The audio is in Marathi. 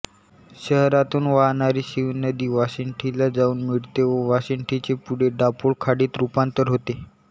शहरातून वाहणारी शिवनदी वाशिष्ठीला जाऊन मिळते व वाशिष्ठीचे पुढे दाभोळ खाडीत रूपांतर होते